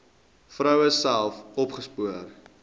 vroue self opgespoor